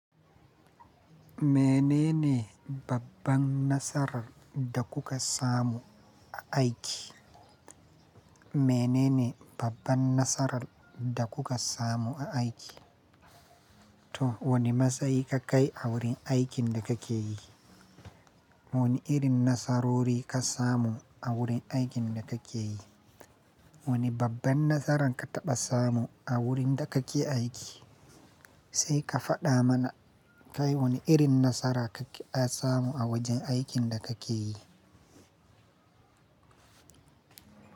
Menene babban nasarar da kuka samu a aiki? Menene babban nasarar da kuka samu a aiki? To wane matsayi ka kai a wurin aikin da kake yi? Wane irin nasarori ka samu a wurin aikin da kake yi? Wane babban nasara ka taɓa samu a wurin da kake aiki? Sai ka faɗa mana kai wane irin nasara kake samu a wajen aikin da kake yi.